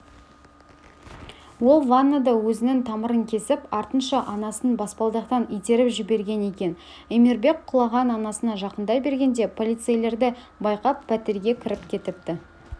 ол ваннада өзінің тамырын кесіп артынша анасын баспалдақтан итеріп жіберген екен эмирбек құлаған анасына жақындай бергенде полицейлерді байқап пәтерге кіріп кетіпті